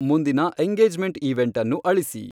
ಮುಂದಿನ engagement event ಅನ್ನು ಅಳಿಸಿ